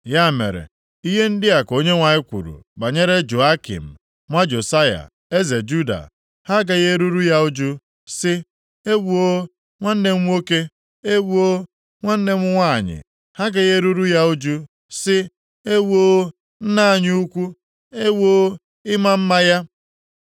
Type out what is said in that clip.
Ya mere, ihe ndị a ka Onyenwe anyị kwuru banyere Jehoiakim nwa Josaya eze Juda: “Ha agaghị eruru ya uju sị, ‘Ewoo nwanne m nwoke! Ewoo nwanne m nwanyị!’ Ha agaghị eruru ya uju sị, ‘Ewoo nna anyị ukwu! Ewoo ịma mma ya!’